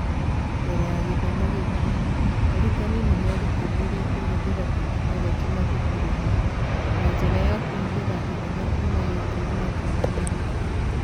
Mbere ya gĩthomo gĩkĩ, arutani nĩ meerutanĩirie kũhũthĩra tekinoronjĩ mathukuru-inĩ na njĩra ya kuhũthĩra thenema kuuma YouTube makĩonania mĩthako